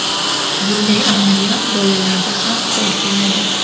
Bunday amaliyot bolalarda ham qo‘l keladi.